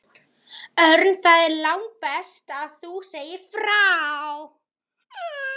Örn, það er langbest að þú segir frá.